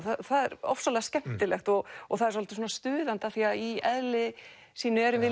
það er ofsalega skemmtilegt og það er svolítið stuðandi af því að í eðli sínu erum við